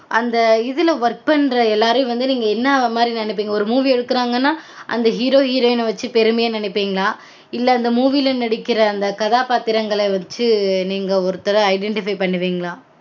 அந்த இதுல வந்து work பண்ற எல்லாரயும் நீங்க என்ன மாரி நெனைப்பீங்க ஒரு movie எடுக்குறாங்கனா அந்த hero heroine -அ வச்சு பெருமையா நெனைப்பீங்களா? இல்ல அந்த movie -ல நடிக்கற அந்த கதாப்பாத்திரங்கள வச்சு நீங்க ஒருத்தர identify பண்ணுவீங்களா?